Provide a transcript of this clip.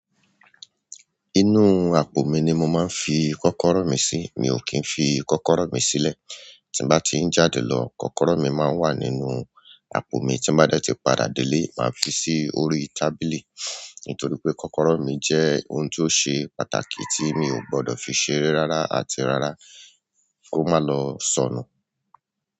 Inú àpò mi ni mo máa ń fi kọ́kọ́rọ́ mi sí. Mi ò kì í fi kọ́kọ́rọ́ mi sílẹ̀. Tí bá ti ń jáde lọ, kọ́kọ́rọ́ mi máa ń wà nínú àpò mi. Tí bá dẹ́ ti padà délé, màá fi sí orí tábìlì. Nítorí pé kọ́kọ́rọ́ mi jẹ́ ohun tó ṣe pàtàkì tí mi ò gbọ́dọ̀ fi ṣeré rárá àti rárá kó má lọ sọnù.